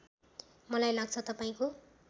मलाई लाग्छ तपाईँको